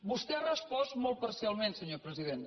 vostè ha respost molt parcialment senyor president